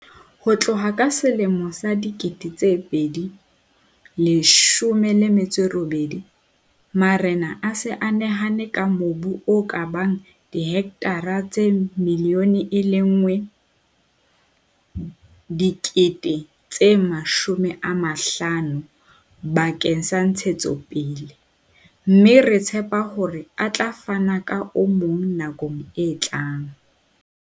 Ho tloha ka selemo sa 2018, marena a se a nehelane ka mobu o ka bang dihektara tse 1 500 000 bakeng sa ntshetsopele, mme re tshepa hore a tla fana ka o mong nakong e tlang.